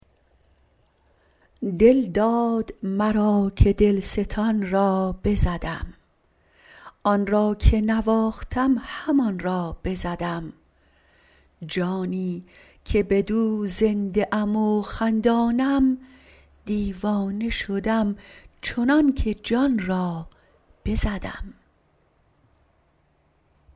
دل داد مرا که دلستان را بزدم آن را که نواختم همان را بزدم جانی که بدو زنده ام و خندانم دیوانه شدم چنانکه جان را بزدم